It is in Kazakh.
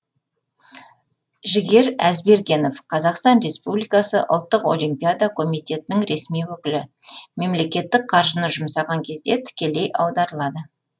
жігер әзбергенов қазақстан республикасы ұлттық олимпиада комитетінің ресми өкілі мемлекеттік қаржыны жұмсаған кезде тікелей аударылады